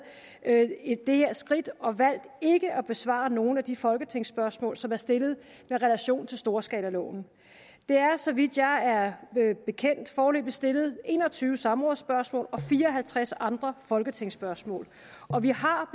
det her skridt og valgt ikke at besvare nogen af de folketingsspørgsmål som er stillet med relation til storskalaloven der er så vidt jeg er bekendt foreløbig stillet en og tyve samrådsspørgsmål og fire og halvtreds andre folketingsspørgsmål og vi har